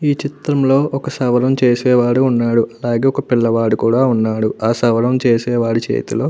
ఈ చిత్రం లో ఒక సవరం చేసేవారు ఉన్నారు. ఒక పిల్లవాడు కూడా ఉన్నాడు ఆ సవరం చేసే వాడి చేతిలో --